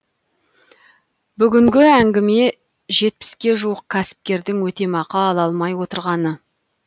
бүгінгі әңгіме жетпіске жуық кәсіпкердің өтемақы ала алмай отырғаны